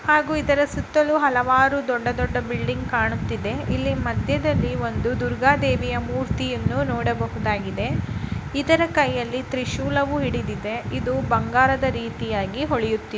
ಹಾಗೂ ಇದರ ಸುತ್ತಲೂ ಹಲವಾರು ದೊಡ್ಡ ದೊಡ್ಡ ಬಿಲ್ಡಿಂಗ್ ಕಾಣುತ್ತಿದೆ. ಇಲ್ಲಿ ಮಧ್ಯದಲ್ಲಿ ಒಂದು ದುರ್ಗ ದೇವಿಯ ಮೂರ್ತಿಯನ್ನು ನೋಡಬಹುದಾಗಿದೆ. ಇದರ ಕೈಯಲ್ಲಿ ತ್ರಿಶೂಲವೂ ಹಿಡಿದಿದೆ ಇದು ಬಂಗಾರದ ರೀತಿಯಾಗಿ ಹೊಳಿಯುತ್ತಿ--